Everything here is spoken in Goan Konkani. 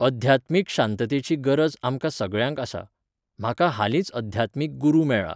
अध्यात्मीक शांततेची गरज आमकां सगळ्यांक आसा. म्हाका हालींच अध्यात्मीक गुरू मेळ्ळा.